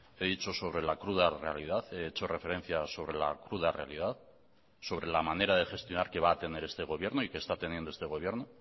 he dicho sobre la cruda realidad he hecho referencia sobre la cruda realidad sobre la manera de gestionar que va a tener este gobierno y que está teniendo este gobierno